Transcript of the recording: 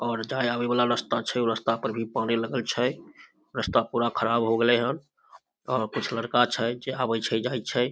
और जाय-आवे वला रस्ता छै ऊ रस्ता पर भी पानी लगल छै रस्ता पूरा खराब होय गेले हैन अ कुछ लड़का छै जे आवे छै जाय छै।